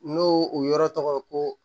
N'o o yɔrɔ tɔgɔ ye ko